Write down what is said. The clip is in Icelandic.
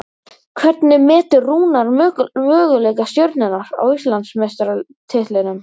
Hvernig metur Rúnar möguleika Stjörnunnar á Íslandsmeistaratitlinum?